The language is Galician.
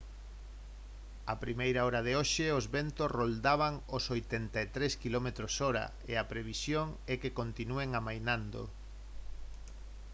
a primeira hora de hoxe os ventos roldaban os 83 km/h e a previsión é que continúen amainando